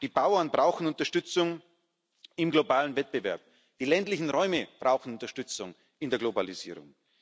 Die Bauern brauchen Unterstützung im globalen Wettbewerb, die ländlichen Räume brauchen Unterstützung in der Globalisierung.